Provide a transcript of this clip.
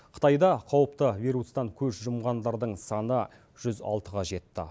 қытайда қауіпті вирустан көз жұмғандардың саны жүз алтыға жетті